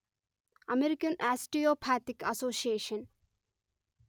American osteopathic association